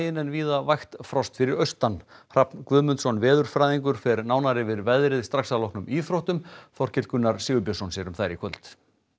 en víða vægt frost fyrir austan Hrafn Guðmundsson veðurfræðingur fer nánar yfir veðrið strax að loknum íþróttum Þorkell Gunnar Sigurbjörnsson sér um þær í kvöld